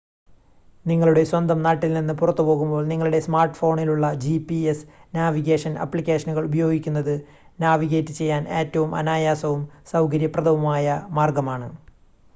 നിങ്ങളുടെ സ്വന്തം നാട്ടിൽനിന്ന് പുറത്ത് പോകുമ്പോൾ നിങ്ങളുടെ സ്മാർട്ട് ഫോണിലുള്ള gps നാവിഗേഷൻ അപ്ലിക്കേഷനുകൾ ഉപയോഗിക്കുന്നത് നാവിഗേറ്റ് ചെയ്യാൻ ഏറ്റവും അനായാസവും സൗകര്യപ്രദവുമായ മാർഗ്ഗമാണ്